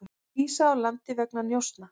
Vísað úr landi vegna njósna